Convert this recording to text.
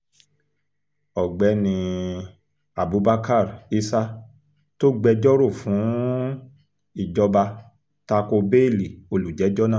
ọ̀gbẹ́ni um abubakar issa tó gbẹ́jọ́ rọ̀ fún um ìjọba ta ko béèlì olùjẹ́jọ́ náà